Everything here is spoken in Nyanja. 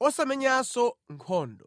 osamenyanso nkhondo.